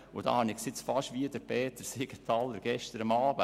Da halte ich es fast mit dem Votum von Peter Siegenthaler von gestern Abend.